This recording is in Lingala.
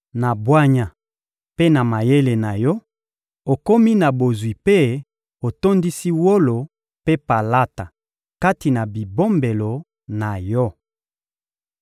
Na bwanya mpe na mayele na yo, okomi na bozwi mpe otondisi wolo mpe palata kati na bibombelo na yo.